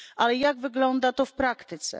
Ale jak wygląda to w praktyce?